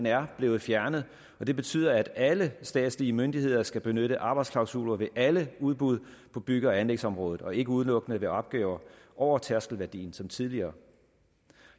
er blevet fjernet og det betyder at alle statslige myndigheder skal benytte arbejdsklausuler ved alle udbud på bygge og anlægsområdet og ikke udelukkende ved opgaver over tærskelværdien som tidligere